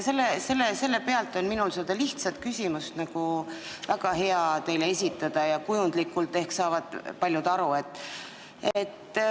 Selle najal on mul väga hea teile kujundlikult üks lihtne küsimus esitada ja paljud saavad ehk aru.